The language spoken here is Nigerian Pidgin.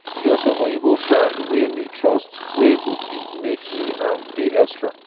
e get some oyinbo brand wey me trust wey go fit make me um pay extra